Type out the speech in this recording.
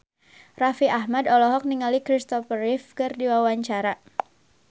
Raffi Ahmad olohok ningali Christopher Reeve keur diwawancara